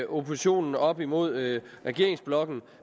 oppositionen op imod regeringsblokken